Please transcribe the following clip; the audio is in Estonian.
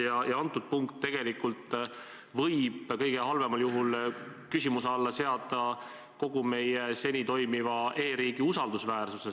Ja kõnealune punkt tegelikult võib kõige halvemal juhul küsimuse alla seada kogu meie seni toimiva e-riigi usaldusväärsuse.